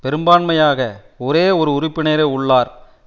பெரும்பான்மையாக ஒரே ஒரு உறுப்பினரே உள்ளார்